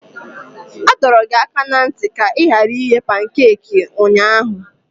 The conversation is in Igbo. A dọrọ gị aka ná ntị ka ị ghara ighe pankaki ụnyahụ!